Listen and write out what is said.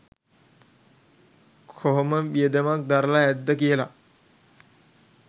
කොහොම වියදමක් දරලා ඇත්ද කියලා